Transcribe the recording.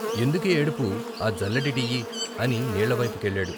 "ఎందుకే ఏడుపు ఆ జల్లెడిటియ్యి " అని నీళ్ళవైపు కెళ్ళాడు.